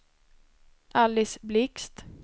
Alice Blixt